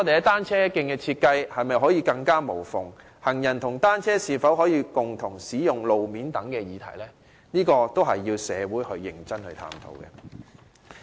單車徑的設計是否可以做到"更無縫"，行人和單車是否可以共用路面等議題，確實需要社會認真探討。